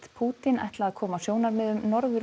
Pútín ætla að koma sjónarmiðum Norður